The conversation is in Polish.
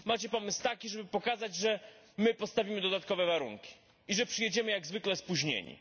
Macie pomysł taki, żeby pokazać, że my postawimy dodatkowe warunki i że przyjedziemy jak zwykle spóźnieni.